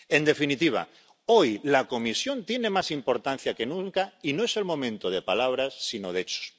En definitiva, hoy la Comisión tiene más importancia que nunca y no es el momento de palabras, sino de hechos.